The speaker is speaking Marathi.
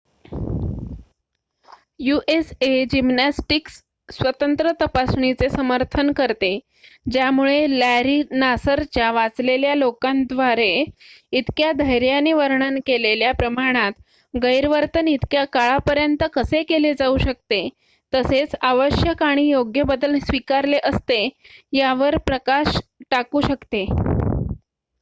usa जिम्नॅस्टिक्स स्वतंत्र तपासणीचे समर्थन करते ज्यामुळे लॅरी नासरच्या वाचलेल्या लोकांद्वारे इतक्या धैर्याने वर्णन केलेल्या प्रमाणात गैरवर्तन इतक्या काळापर्यंत कसे केले जाऊ शकते तसेच आवश्यक आणि योग्य बदल स्वीकारले असते यावर प्रकाश टाकू शकते